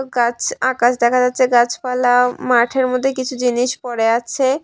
গাছ আকাশ দেখা যাচ্ছে গাছপালা মাঠের মধ্যে কিছু জিনিস পড়ে আছে।